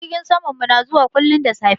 Jirgin samanmu na zuwa kullum da safe.